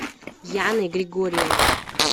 яной григорьевной